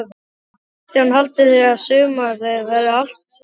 Kristján: Haldið þið að sumarið verið allt svona?